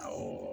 Awɔ